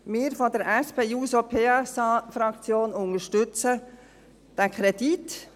Wir von der SP-JUSO-PSA-Fraktion unterstützen diesen Kredit.